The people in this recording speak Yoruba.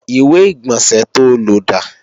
ìwé-ìgbọ̀nsẹ̀ to lò dà?